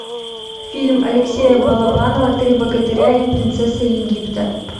фильм алексея балабанова три богатыря и принцесса египта